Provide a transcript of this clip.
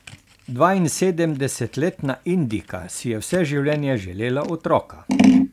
Dvainsedemdesetletna Indijka si je vse življenje želela otroka.